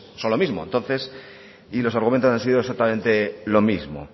son lo mismo entonces y los argumentos han sido exactamente lo mismo